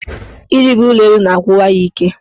Ịrịgo ụlọelu na-agwụwa ya ike.